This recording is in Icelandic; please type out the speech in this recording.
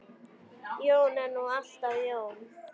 Jón er nú alltaf Jón.